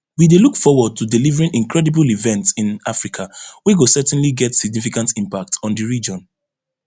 we dey look forward to delivering incredible event [in africa] wey go certainly get significant impact on di region